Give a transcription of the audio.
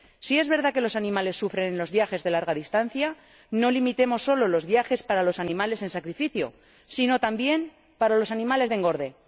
Si es verdad que los animales sufren en los viajes de larga distancia, no limitemos solo los viajes para los animales destinados al sacrificio sino también para los animales de engorde.